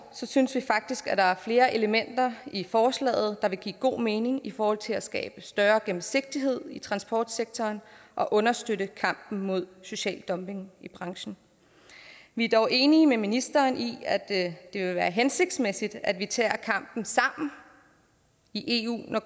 synes vi faktisk at der er flere elementer i forslaget der vil give god mening i forhold til at skabe større gennemsigtighed i transportsektoren og understøtte kampen mod social dumping i branchen vi er dog enige med ministeren i at det vil være hensigtsmæssigt at vi tager kampen sammen i eu når